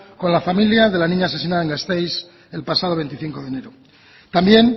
con la familia de la niña asesinada en gasteiz el pasado veinticinco de enero también